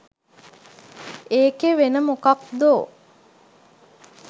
ඒකෙ වෙන මොකක්දෝ